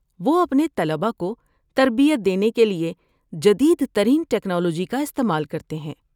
وہ اپنے طلبہ کو تربیت دینے کے لیے جدید ترین ٹکنالوجی کا استعمال کرتے ہیں۔